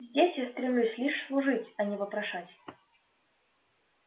здесь я стремлюсь лишь служить а не вопрошать